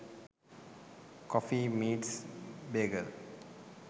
coffee meets bagel